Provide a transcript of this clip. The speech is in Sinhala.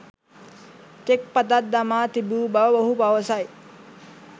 චෙක් පතක් දමා තිබූ බව ඔහු පවසයි